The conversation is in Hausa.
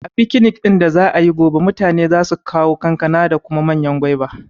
A fikinik ɗin da za'ayi gobe, mutane za su kawo kankana da kuma manyan gwaiba